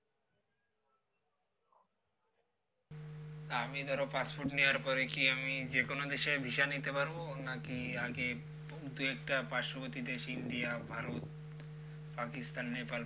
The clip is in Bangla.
তো আমি ধরো passport নেওয়ার পরে কি আমি যে কোন দেশ visa নিতে পারব নাকি আগে দুই একটা পার্শ্ববর্তী দেশ ইন্ডিয়া ভারত পাকিস্তান নেপাল